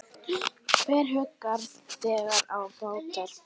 Hver huggar þegar á bjátar?